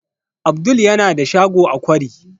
Abdul yana da shago a kwari